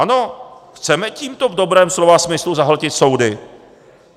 Ano, chceme tímto v dobrém slova smyslu zahltit soudy.